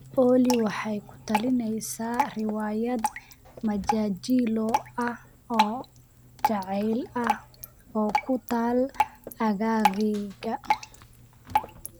olly waxay ku talinaysaa riwaayad majaajillo ah oo jaceyl ah oo ku taal aaggayga